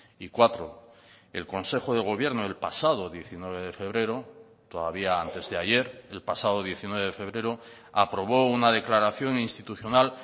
y cuatro el consejo de gobierno el pasado diecinueve de febrero todavía antes de ayer el pasado diecinueve de febrero aprobó una declaración institucional